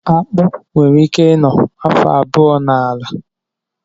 Akpụ nwere ike ị nọ afọ abụọ n'ala